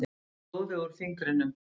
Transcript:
Sýg blóðið úr fingrinum.